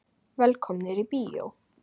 Velkomnir í bíó.